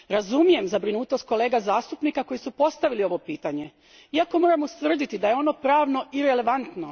Razumijem zabrinutost kolega zastupnika koji su postavili ovo pitanje, iako moram ustvrditi da je ono pravno irelevantno.